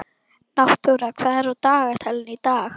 Náttúra, hvað er á dagatalinu í dag?